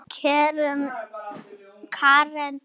Karen var á hinu baðinu.